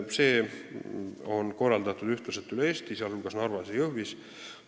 Kogu see töö on korraldatud ühtlaselt üle Eesti, sh Narvas ja Jõhvis.